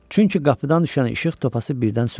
Çünki qapıdan düşən işıq topası birdən söndü.